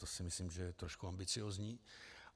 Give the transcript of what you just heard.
To si myslím, že je trošku ambiciózní.